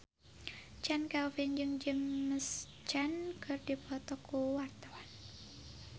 Chand Kelvin jeung James Caan keur dipoto ku wartawan